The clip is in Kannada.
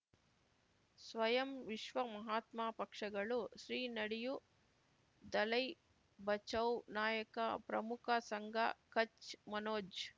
ಸ್ವಯಂ ವಿಶ್ವ ಮಹಾತ್ಮ ಪಕ್ಷಗಳು ಶ್ರೀ ನಡೆಯೂ ದಲೈ ಬಚೌ ನಾಯಕ ಪ್ರಮುಖ ಸಂಘ ಕಚ್ ಮನೋಜ್